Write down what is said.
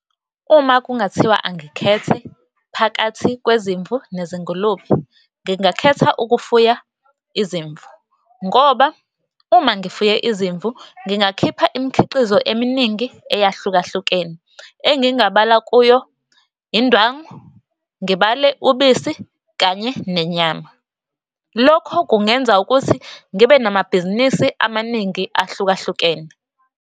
Uma kungathiwa angikhethe phakathi kwezimvu nezingulube, ngingakhetha ukufuya izimvu. Ngoba uma ngifuye izimvu ngingakhipha imikhiqizo eminingi eyahlukahlukene, engingabala kuyo indwangu, ngibale ubisi, kanye nenyama. Lokho kungenza ukuthi ngibe namabhizinisi amaningi ahlukahlukene.